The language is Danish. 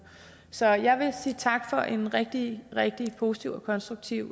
så jeg vil sige tak for en rigtig rigtig positiv og konstruktiv